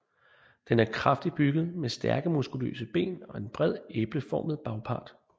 Den er kraftigt bygget med stærke muskuløse ben og en bred æbleformet bagpart